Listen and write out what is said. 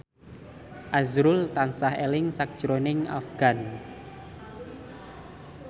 azrul tansah eling sakjroning Afgan